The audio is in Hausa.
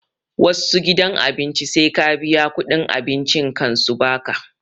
Wassu gidan abinci sai ka biya kuɗin abincin kan su baka